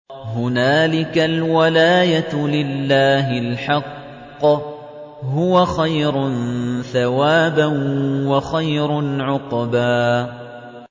هُنَالِكَ الْوَلَايَةُ لِلَّهِ الْحَقِّ ۚ هُوَ خَيْرٌ ثَوَابًا وَخَيْرٌ عُقْبًا